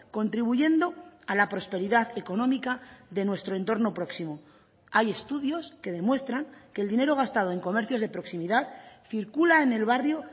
contribuyendo a la prosperidad económica de nuestro entorno próximo hay estudios que demuestran que el dinero gastado en comercios de proximidad circula en el barrio